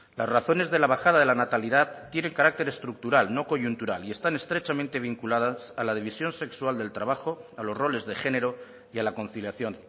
las razones de la bajada de la natalidad tienen carácter estructural no coyuntural y están estrechamente vinculadas a la división sexual del trabajo a los roles de género y a la conciliación